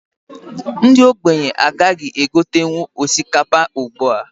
Ndi ogbenye agaghị egotenwu osikapa ugbua